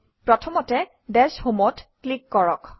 প্ৰথমতে dash Home অত click কৰক